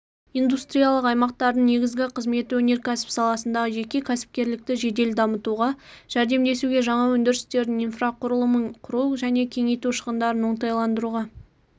индустриялық аймақтардың негізгі қызметі өнеркәсіп саласындағы жеке кәсіпкерлікті жедел дамытуға жәрдемдесуге жаңа өндірістердің инфрақұрылымын құру және кеңейту шығындарын оңтайландыруға өндіріс